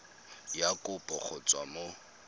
ya kopo go tswa mo